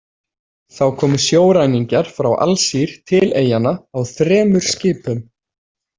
Þá komu sjóræningjar frá Alsír til eyjanna á þremur skipum.